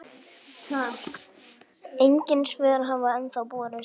Engin svör hafa ennþá borist.